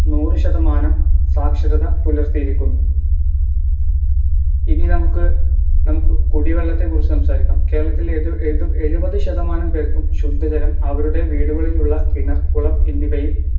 നൂറുശതമാനം സാക്ഷരതാ പുലർത്തിയിരിക്കുന്നു ഇനി നമുക്ക് നമ്മുക്കു കുടിവെള്ളത്തെ കുറിച്ച് സംസാരിക്കാം കേരളത്തിലെ ഏഴുപത് ശതമാനം പേർക്കും ശുദ്ധജലം അവരുടെ വീടുകളിൽ ഉള്ള കിണർ കുളം എന്നിവയിൽ